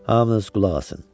Hamınız qulaq asın!